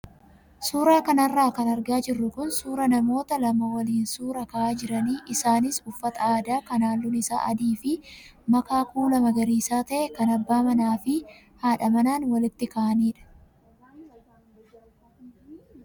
Suuraa kanarra kan argaa jirru kun suuraa namoota lama waliin suuraa ka'aa jiran isaanis uffata aadaa kan halluun isaa adii fi makaa kuula magariisaa ta'ee kan abbaa manaa fi haadha manaan waliin ka'anidha.